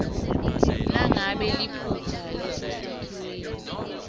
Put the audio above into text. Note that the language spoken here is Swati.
nangabe liphutsa lisesakhiweni